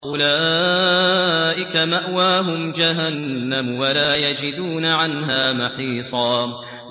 أُولَٰئِكَ مَأْوَاهُمْ جَهَنَّمُ وَلَا يَجِدُونَ عَنْهَا مَحِيصًا